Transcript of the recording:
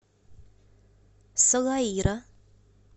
салаира